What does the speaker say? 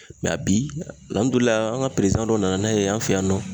bi an ka dɔ nana n'a ye an fɛ yan nɔ